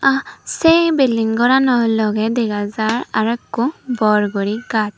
sei bilding gorano logey dega jaar arow ekko bor gori gach.